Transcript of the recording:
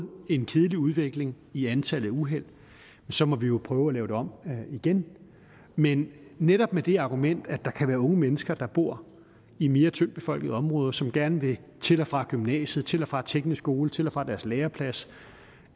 en kedelig udvikling i antallet af uheld så må vi jo prøve at lave det om igen men netop med det argument at der kan være unge mennesker der bor i mere tyndt befolkede områder som gerne vil til og fra gymnasiet til og fra teknisk skole til og fra deres læreplads